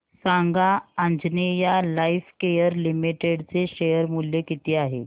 सांगा Anjaneya lifecare limited चे share मूल्य किती आहे